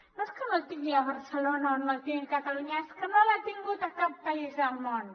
no és no el tingui a barcelona o no el tingui a catalunya és que no l’ha tingut a cap país del món